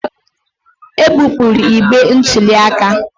E bupụrụ igbe ntụli aka